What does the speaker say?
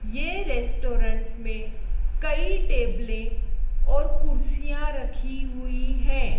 ये रेस्टोरेंट में कई टेबलें और कुर्सियां रखी हुईं हैं।